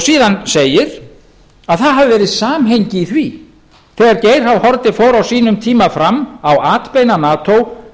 síðan segir að það hafi verið samhengi í því þegar geir h haarde fór á sínum tíma fram á atbeina nato